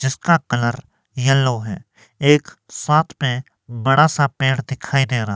जिसका colour yellow है एक साथ में बड़ा सा पेड़ दिखाई दे रहा--